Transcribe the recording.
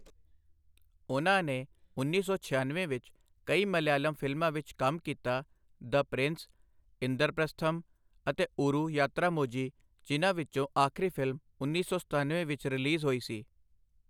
ਉਨ੍ਹਾਂ ਨੇ ਉੱਨੀ ਸੌ ਛਿਆਨਵੇਂ ਵਿੱਚ ਕਈ ਮਲਿਆਲਮ ਫਿਲਮਾਂ ਵਿੱਚ ਕੰਮ ਕੀਤਾ, 'ਦ ਪ੍ਰਿੰਸ', 'ਇੰਦਰਪ੍ਰਸਥਮ' ਅਤੇ 'ਓਰੂ ਯਾਤਰਾਮੋਝੀ', ਜਿਨ੍ਹਾਂ ਵਿੱਚੋਂ ਆਖਰੀ ਫਿਲਮ ਉੱਨੀ ਸੌ ਸਤਨਵੇਂ ਵਿੱਚ ਰਿਲੀਜ਼ ਹੋਈ ਸੀ।